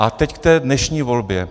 A teď k té dnešní volbě.